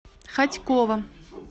хотьково